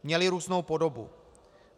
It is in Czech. Měly různou podobu.